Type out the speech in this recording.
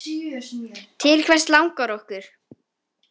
Til hvers langar okkur?